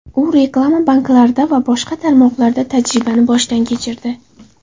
U reklama, banklarda va boshqa tarmoqlarda tajribani boshdan kechirdi.